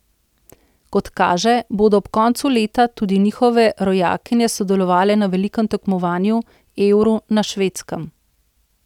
Kot kaže, bodo ob koncu leta tudi njihove rojakinje sodelovale na velikem tekmovanju, euru na Švedskem.